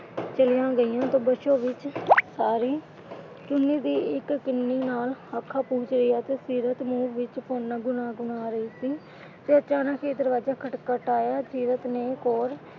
ਚਲੀਆਂ ਗਈਆਂ ਤੇ ਬਸੋ ਵਿੱਚ ਸਾਰੀ ਚੁੰਨੀ ਦੀ ਇੱਕ ਕੰਨੀ ਨਾਲ ਅੱਖਾਂ ਪੂੰਝ ਰਹੀ ਆ ਤੇ ਸੀਰਤ ਮੂੰਹ ਵਿੱਚ ਗੁਣਗੁਣਾ ਰਹੀ ਸੀ। ਅਚਾਨਕ ਹੀ ਦਰਵਾਜਾ ਖੜਕਾਇਆ ਸੀਰਤ ਨੇ ਗੌਰ,